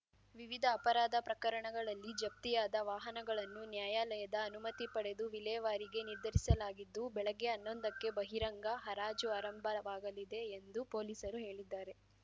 ವಿವಿಧ ಅಪರಾಧ ಪ್ರಕರಣಗಳಲ್ಲಿ ಜಪ್ತಿಯಾದ ವಾಹನಗಳನ್ನು ನ್ಯಾಯಾಲಯದ ಅನುಮತಿ ಪಡೆದು ವಿಲೇವಾರಿಗೆ ನಿರ್ಧರಿಸಲಾಗಿದ್ದು ಬೆಳಗ್ಗೆ ಹನ್ನೊಂದಕ್ಕೆ ಬಹಿರಂಗ ಹರಾಜು ಆರಂಭವಾಗಲಿದೆ ಎಂದು ಪೊಲೀಸರು ಹೇಳಿದ್ದಾರೆ